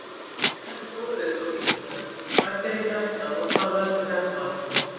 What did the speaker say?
Frekari fróðleikur á Vísindavefnum: Hvað gerir hjartað og hvað veldur hjartaáfalli?